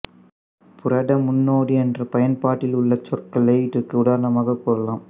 புரத முன்னோடி என்ற பயன்பாட்டிலுள்ள சொற்களை இதற்கு உதாரணமாக கூறலாம்